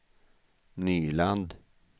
Nyland